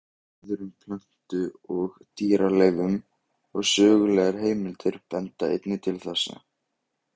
Rannsóknir á öðrum plöntu- og dýraleifum og sögulegar heimildir benda einnig til þessa.